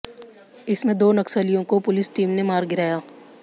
इसमें दो नक्सलियों को पुलिस टीम ने मार गिराया